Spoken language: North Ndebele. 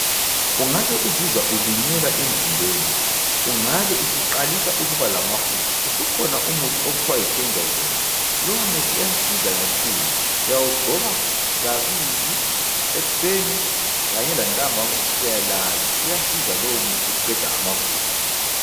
Ungabe uzizwa ulunyelwa emzimbeni, ungabe usuqalisa ukuba lamafusi usukhona umuthi okuthwa yikenzazole. Lowo muthi uyasiza kakhulu uyawugcoba kabili ekuseni kanye lantambama ususiya lala uyasiza lowo muthi ukuqeda amafusi.